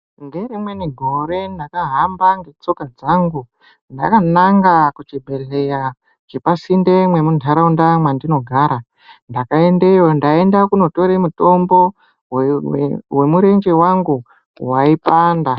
Ngerimweni gore ndakahamba ngetsoka dzangu ndakananga kuchibhledhleya chepasinde nemunharaunda mwendinogara. Ndakaendeyo ndeindotora mutombo wemurenje wangu waipanda.